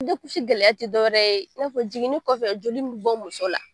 gɛlɛya ti dɔwɛrɛ ye n'a fɔ jiginini kɔfɛ joli min bɛ bɔ muso la